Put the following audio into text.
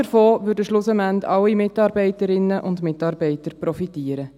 Davon würden schlussendlich alle Mitarbeiterinnen und Mitarbeiter profitieren.